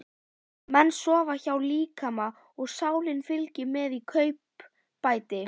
Menn sofa hjá líkama og sálin fylgir með í kaupbæti.